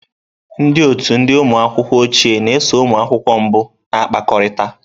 Ndị otu ndị ụmụ akwụkwọ ochie na-eso ụmụ akwụkwọ mbụ na-akpakọrịta.